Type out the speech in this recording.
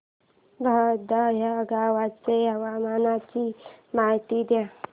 बहादा या गावाच्या हवामानाची माहिती दे